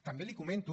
també li comento